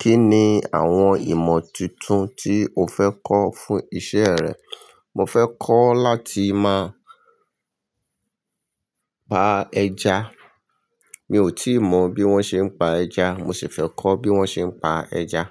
Kí ni àwọn ìmọ̀ tuntun tí o fẹ́ kọ́ fún iṣẹ́ rẹ? Mo fẹ́ kọ́ láti máa pa ẹja. Mi ò tíì mọ bí wón ṣe ń pa ẹja, mo sì fẹ́ kọ́ bí wón ṣe ń pa ẹja.